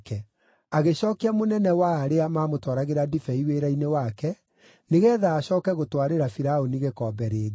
Agĩcookia mũnene wa arĩa maamũtwaragĩra ndibei wĩra-inĩ wake, nĩgeetha acooke gũtwarĩra Firaũni gĩkombe rĩngĩ.